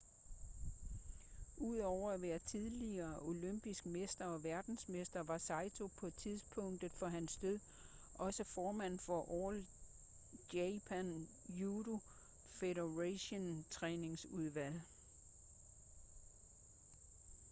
udover at være tidligere olympisk mester og verdensmester var saito på tidspunktet for hans død også formand for all japan judo federations træningsudvalg